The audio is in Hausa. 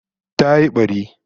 Ta yi bari